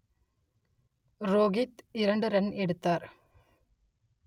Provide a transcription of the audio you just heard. ரோகித் இரண்டு ரன் எடுத்தார்